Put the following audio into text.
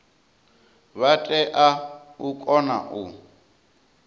vha tea u kona u